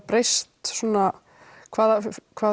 breyst svona hvaða hvaða